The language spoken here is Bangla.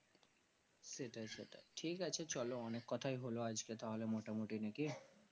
সেটাই সেটাই ঠিক আছে চলো অনেক কোথায় হলো আজ কে তাহলে মোটামোটি নাকি